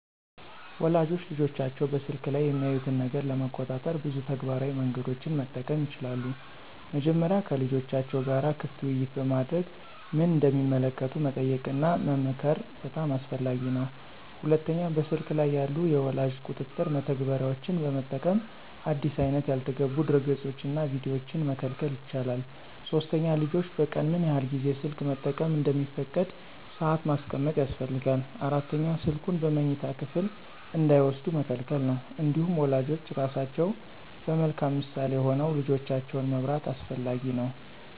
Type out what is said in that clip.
ወላጆች ልጆቻቸው በስልክ ላይ የሚያዩትን ነገር ለመቆጣጠር ብዙ ተግባራዊ መንገዶችን መጠቀም ይችላሉ። መጀመሪያ ከልጆቻቸው ጋር ክፍት ውይይት በማድረግ ምን እንደሚመለከቱ መጠየቅና መመክር በጣም አስፈላጊ ነው። ሁለተኛ በስልክ ላይ ያሉ የወላጅ ቁጥጥር መተግበሪያዎችን በመጠቀም አዲስ አይነት ያልተገቡ ድረገፆችንና ቪዲዮዎችን መከልከል ይቻላል። ሶስተኛ ልጆች በቀን ምን ያህል ጊዜ ስልክ መጠቀም እንደሚፈቀድ ሰአት ማስቀመጥ ያስፈልጋል። አራተኛ ስልኩን በመኝታ ክፍል እንዳይወስዱ መከልከል ነው። እንዲሁም ወላጆች ራሳቸው በመልካም ምሳሌ ሆነው ልጆቻቸውን መምራት አስፈላጊ ነው።